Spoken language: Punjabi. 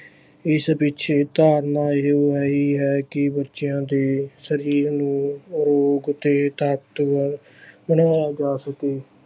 ਇਸ ਪਿੱਛੇ ਧਾਰਨਾ ਇਹੋ ਹੀ ਹੈ ਕਿ ਬੱਚਿਆਂ ਦੇ ਸਰੀਰ ਨੂੰ ਆਰੋਗ ਤੇ ਤਾਕਤਵਰ ਬਣਾਇਆ ਜਾ ਸਕੇ।